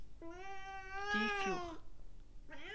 Dyfjord